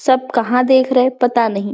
सब कहाँ देख रहे है पता नहीं--